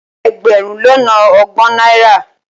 Ẹgbẹ̀rún lọ́nà ọgbọ̀n náírà